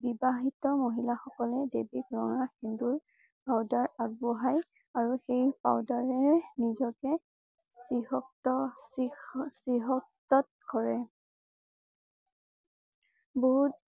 বিবাহিত মহিলা সকলে দেৱীক ৰঙা সেন্দুৰ powder আগ বঢ়ায় আৰু সেই powder ৰে ৰে নিজকে কৰে। বহুত